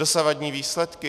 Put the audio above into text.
Dosavadní výsledky?